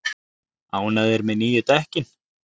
Ánægðir með nýju dekkin